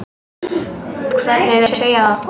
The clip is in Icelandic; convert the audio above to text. Hvernig þau segja það.